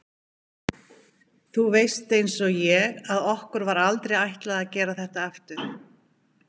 Þú veist einsog ég að okkur var aldrei ætlað að gera þetta aftur.